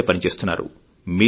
సిద్ధపడి పనిచేస్తున్నారు